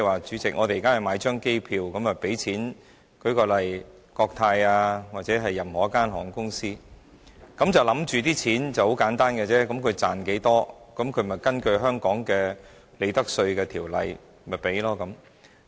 主席，我們現在向國泰航空或任何一間航空公司購買一張機票，我們想象稅款計算是很簡單的，公司賺取多少，就根據香港的《稅務條例》的利得稅稅率繳稅。